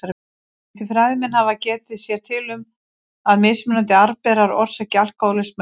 Ýmsir fræðimenn hafa getið sér til um að mismunandi arfberar orsaki alkóhólisma í fólki.